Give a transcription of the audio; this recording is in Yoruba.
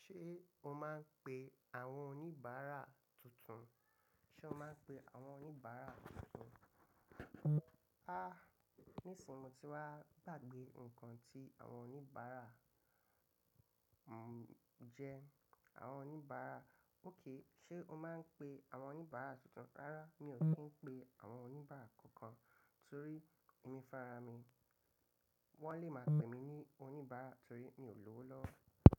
Ṣé o máa ń pe àwọn oníbàárà tuntun? Sé o máa ń pe àwọn oníbàárà tuntun? Ah, ní ìsinmi tí wá bàgbé ǹkan tí àwọn oníbàárà jẹ, àwọn oníbàárà óké. Sé o máa ń pe àwọn oníbàárà tuntun? Rárá, mi ò kìń pe àwọn oníbàárà kankan torí èmi farami. Wọ́n lè máa pè mí ní oníbàárà torí mi ò lọ́wọ́ lówó.